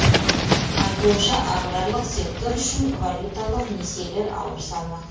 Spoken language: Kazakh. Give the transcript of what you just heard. айтуынша аграрлық сектор үшін валюталық несиелер ауыр салмақ